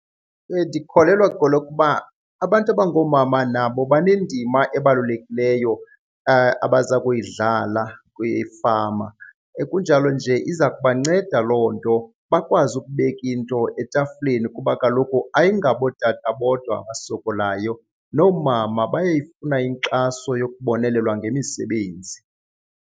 Ndikholelwa kwelokuba abantu abangoomama nabo banendima ebalulekileyo abaza kuyidlala kwifama, kunjalo nje iza kubanceda loo nto bakwazi ukubeka into etafileni kuba kaloku ayingabo ootata bodwa abasokolayo, noomama bayayifuna inkxaso yokubonelelwa ngemisebenzi.